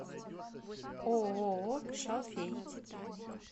ооо шалфей